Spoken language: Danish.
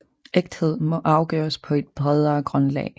Ægthed må afgøres på et bredere grundlag